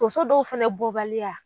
Tonso dɔw fɛnɛ bɔbaliya.